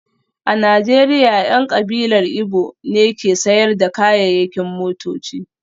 A Najeriya, 'yan kabilar Igbo ne ke sayar da kayayyakin motoci